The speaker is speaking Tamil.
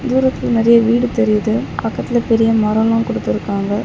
தூரத்தில் நறிய வீடு தெரியுது பக்கத்துல பெரிய மரோல்லா குடுத்துருக்காங்க.